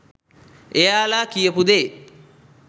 එයාලා කියපු දේ